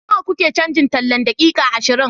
Nawa kuke cajin tallan daƙiƙa ashirin?